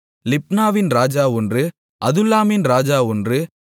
லிப்னாவின் ராஜா ஒன்று அதுல்லாமின் ராஜா ஒன்று